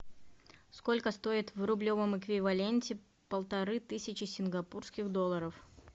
сколько стоит в рублевом эквиваленте полторы тысячи сингапурских долларов